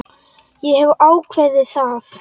Ég hef ákveðið það.